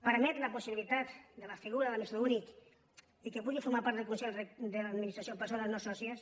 permet la possibilitat de la figura de l’administrador únic i que puguin formar part del consell d’administració persones no sòcies